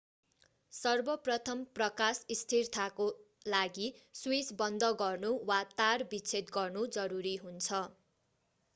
सर्वप्रथम प्रकाश स्थिरताको लागि स्विच बन्द गर्नु वा तार विच्छेद गर्नु जरुरी हुन्छ